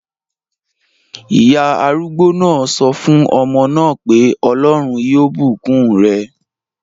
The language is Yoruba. Ìyá arúgbó náà sọ fún ọmọ náà pé "Ọlọ́run yóò bùkún rẹ!"